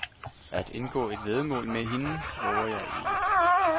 At indgå et væddemål med hende vover jeg ikke.